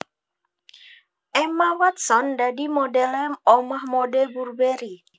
Emma Watson dadi modele omah mode Burberry